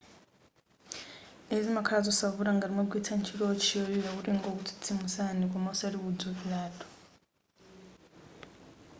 izi zizakhala zosavuta ngati mwagwiritsa ntchito wotchi yolira kuti ingokutsitsimusani koma osati kudzukiratu